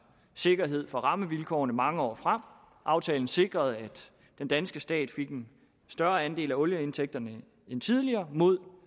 sikkerhed for rammevilkårene mange år frem aftalen sikrede at den danske stat fik en større andel af olieindtægterne end tidligere mod